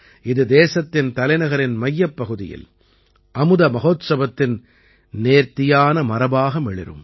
இது தேசத்தின் தலைநகரின் மையப்பகுதியில் அமுத மஹோத்சவத்தின் நேர்த்தியான மரபாக மிளிரும்